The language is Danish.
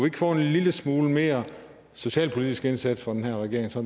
ikke få en lille smule mere socialpolitisk indsats fra den her regering så